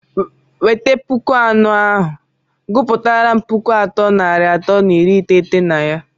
weta pụkụ anọ ahụ, gụpụtaram pụkụ atọ nari atọ na iri iteghete na ya!!!